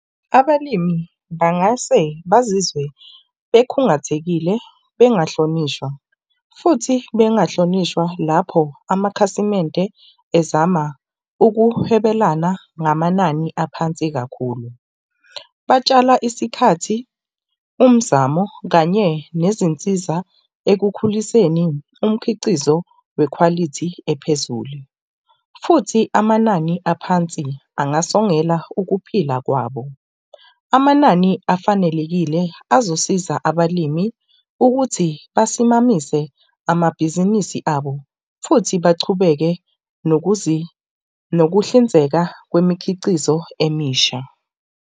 Abalimi bangase bazizwe bekhungathekile bengahlonishwa, futhi bengahlonishwa lapho amakhasimende ezama ukuhwebelana ngamanani aphansi kakhulu. Batshala isikhathi, umzamo kanye nezinsiza ekukhuliseni umkhiqizo wekhwalithi ephezulu. Futhi amanani aphansi angasongela ukuphila kwabo. Amanani afanelekile azosiza abalimi ukuthi basimise amabhizinisi abo futhi bachubeke nokuhlinzeka kwemikhicizo emisha.